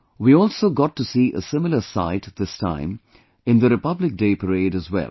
We also got to see a similar sight this time in the Republic Day parade as well